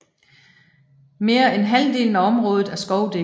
Mere end halvdelen af området er skovdækket